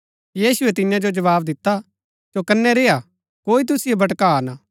यीशुऐ तियां जो जवाव दिता चौकनै रेय्आ कोई तुसिओ भटका ना